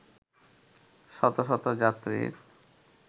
শতশত যাত্রীর